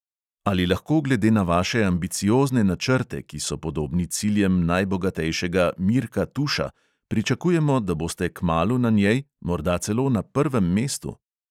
Ali lahko glede na vaše ambiciozne načrte, ki so podobni ciljem najbogatejšega mirka tuša, pričakujemo, da boste kmalu na njej, morda celo na prvem mestu?